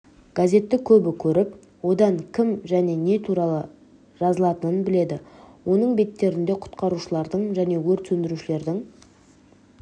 газетті көбі көріп онда кім және не туралы жазылатынын біледі оның беттерінде құтқарушылардың және өрт сөндірушілердің